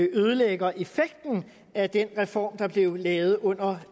ødelægger effekten af den reform der blev lavet under